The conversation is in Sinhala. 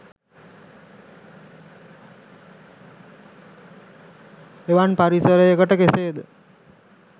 එවන් පරිසරයකට කෙසේද